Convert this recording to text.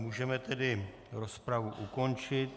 Můžeme tedy rozpravu ukončit.